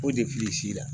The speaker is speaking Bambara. O de fili s'i la